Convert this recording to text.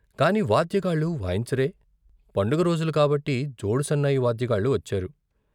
కాని వాద్యగాళ్ళు వాయించరే పండగ రోజులు కాబట్టి జోడు సన్నాయి వాద్యగాళ్ళు వచ్చారు.